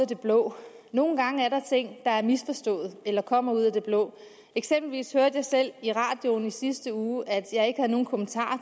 det blå nogle gange er der ting der er misforstået eller kommer ud af det blå eksempelvis hørte jeg selv i radioen i sidste uge at jeg ikke havde nogen kommentarer